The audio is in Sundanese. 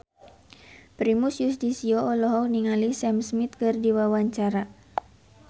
Primus Yustisio olohok ningali Sam Smith keur diwawancara